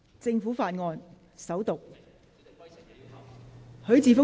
政府法案：首讀。